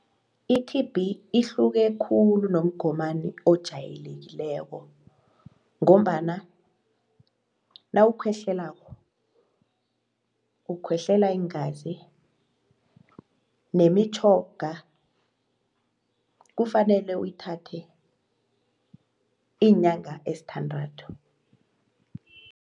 I-T_B ihluke khulu nomgomani ojayelekileko ngombana nawukhwehlelako, ukwehlela iingazi nemitjhoga kufanele uyithathe iinyanga ezisithandathu.